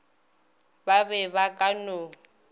ba be ba ka no